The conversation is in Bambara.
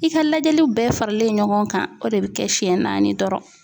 I ka lajɛliw bɛɛ faralen ɲɔgɔn kan o de bɛ kɛ siɲɛ naani dɔrɔn.